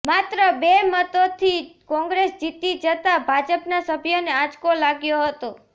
માત્ર બે મતોથી કોંગ્રેસ જીતી જતા ભાજપના સભ્યોને આંચકો લાગ્યો હતો